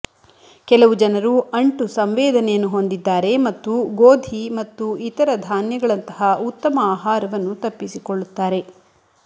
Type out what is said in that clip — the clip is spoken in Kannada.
ಕೆಲವು ಜನರು ಅಂಟು ಸಂವೇದನೆಯನ್ನು ಹೊಂದಿದ್ದಾರೆ ಮತ್ತು ಗೋಧಿ ಮತ್ತು ಇತರ ಧಾನ್ಯಗಳಂತಹ ಉತ್ತಮ ಆಹಾರವನ್ನು ತಪ್ಪಿಸಿಕೊಳ್ಳುತ್ತಾರೆ